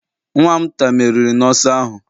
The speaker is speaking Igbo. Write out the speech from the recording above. Nwa'm nta meriri n'ọsọ ahụ